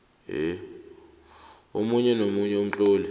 omunye nomunye umtlolo